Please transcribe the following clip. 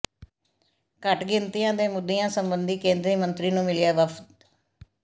ਘੱਟ ਗਿਣਤੀਆਂ ਦੇ ਮੁੁੱਦਿਆਂ ਸਬੰਧੀ ਕੇਂਦਰੀ ਮੰਤਰੀ ਨੂੰ ਮਿਲਿਆ ਵਫ਼ਦ